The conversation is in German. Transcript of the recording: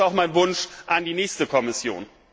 Das ist auch mein Wunsch an die nächste Kommission.